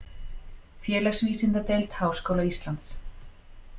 Félagsvísindadeild Háskóla Íslands.